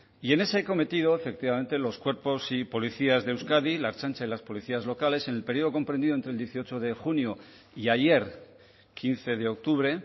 y en ese cometido efectivamente los cuerpos y policías de euskadi la ertzaintza y las policías locales en el periodo comprendido entre el dieciocho de junio y ayer quince de octubre